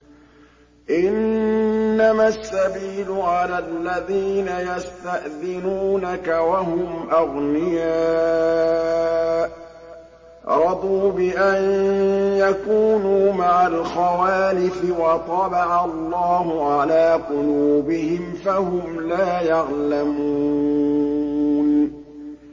۞ إِنَّمَا السَّبِيلُ عَلَى الَّذِينَ يَسْتَأْذِنُونَكَ وَهُمْ أَغْنِيَاءُ ۚ رَضُوا بِأَن يَكُونُوا مَعَ الْخَوَالِفِ وَطَبَعَ اللَّهُ عَلَىٰ قُلُوبِهِمْ فَهُمْ لَا يَعْلَمُونَ